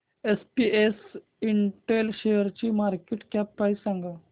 SPS Intel शेअरची market cap price सांगा